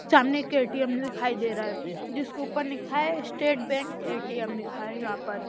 सामने एक दिखाई दे रहा है जिसके ऊपर लिखा है स्टेट बैंक ए_टी_एम लिखा है यहां पर--